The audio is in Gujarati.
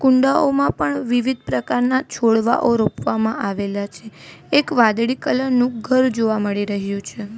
કુંડાઓ પણ વિવિધ પ્રકારના છોડવાઓ રોપવામાં આવેલા છે એક વાદળી કલર નું ઘર જોવા મળી રહ્યું છે.